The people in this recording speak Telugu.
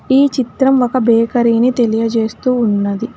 ఈ చిత్రం ఒక బేకరీ ని తెలియజేస్తూ ఉన్నది.